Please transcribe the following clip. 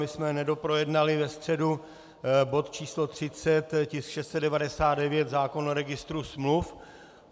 My jsme nedoprojednali ve středu bod číslo 30, tisk 699, zákon o registru smluv.